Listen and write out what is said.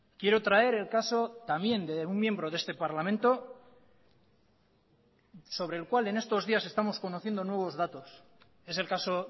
quiero traer el caso también de un miembro de este parlamento sobre el cual en estos días estamos conociendo nuevos datos es el caso